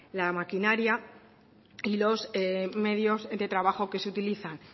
la maquinaria y los medios de trabajo que se utilizan